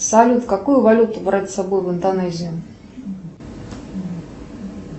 салют какую валюту брать с собой в индонезию